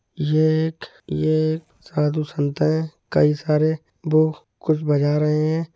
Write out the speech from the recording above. ये एक ये एक साधु संत है कई सारे वो कुछ बजा रहे हैं।